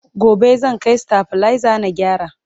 gobe zan Kai stabilizer na gyara